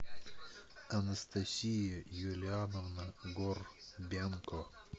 анастасия юлиановна горбенко